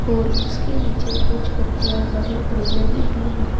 और उसके नीचे कुछ पत्तियां हरी भरी लगी हुई हैं।